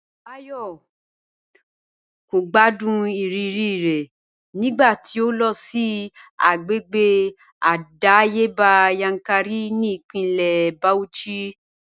Báyò̩ kò gbádùn ìrírí rè̩ nígbà tí ó lo̩ sí agbègbè àdáyébá Yankari ní ìpínlè̩ Bauchi